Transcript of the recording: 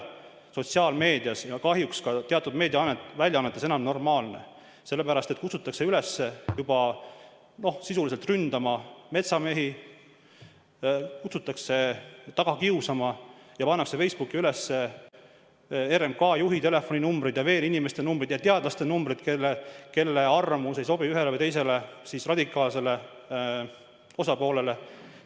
Nii sotsiaalmeedias kui ka kahjuks teatud meediaväljaannetes kutsutakse sisuliselt üles ründama metsamehi, kutsutakse neid taga kiusama, pannakse Facebooki üles RMK juhi telefoninumbrid ja muude inimeste, näiteks teadlaste numbrid, kelle arvamus ei sobi ühele või teisele radikaalsele osapoolele.